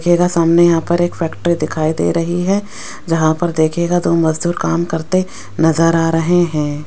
देखिएगा सामने यहां पर एक फैक्टरी दिखाई दे रही हैं जहां पर देखिएगा दो मजदूर काम करते नजर आ रहे हैं।